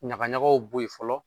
Ɲagaɲagaw bɔ yen fɔlɔ